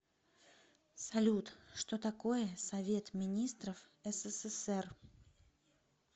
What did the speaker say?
салют что такое совет министров ссср